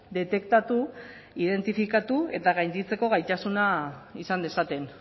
detektatu identifikatu eta gainditzeko gaitasuna izan dezaten